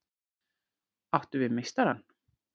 Áttu við meistarann?